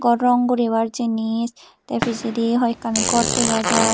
or rong guribar jinsh tay pijedi hoyekkani gor dega jar.